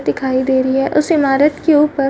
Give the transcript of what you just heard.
दिखाई दे रही है उस इमारत के ऊपर --